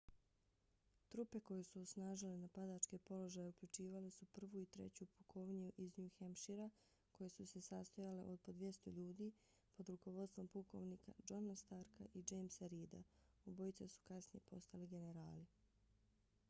trupe koje su osnažile napadačke položaje uključivale su 1. i 3. pukovniju iz new hampshira koje su se sastojale od po 200 ljudi pod rukovodstvom pukovnika johna starka i jamesa reeda obojica su kasnije postali generali